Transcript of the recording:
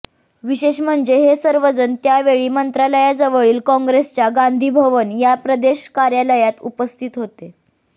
विशेष म्हणजे हे सर्वजण त्यावेळी मंत्रालयाजवळील काँग्रेसच्या गांधीभवन या प्रदेश कार्यालयात उपस्थित होते